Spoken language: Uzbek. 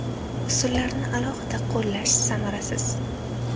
Usullarni alohida qo‘llash samarasiz.